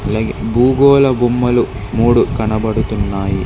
అలాగే భూగోళ బొమ్మలు మూడు కనబడుతున్నాయి.